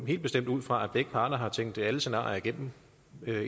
helt bestemt ud fra at begge parter har tænkt alle scenarier igennem